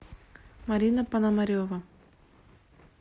марина пономарева